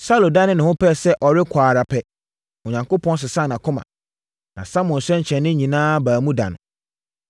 Saulo danee ne ho pɛɛ sɛ ɔkɔ ara pɛ, Onyankopɔn sesaa nʼakoma, na Samuel nsɛnkyerɛnneɛ nyinaa baa mu da no.